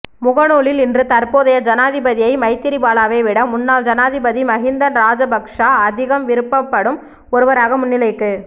முகநூலில் இன்று தற்போதைய ஜனாதிபதியை மைத்திரிபாலவை விட முன்னாள் ஜனாதிபதி மஹிந்த ராஜபக்ச அதிகம் விரும்பப்படும் ஒருவராக முன்னிலைக்கு